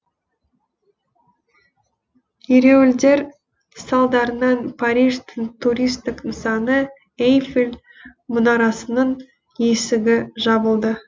ереуілдер салдарынан париждің туристік нысаны эйфель мұнарасының есігі жабылды